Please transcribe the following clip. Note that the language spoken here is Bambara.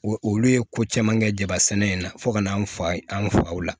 Olu ye ko caman kɛ jaba sɛnɛ in na fo ka n'an fa an faw la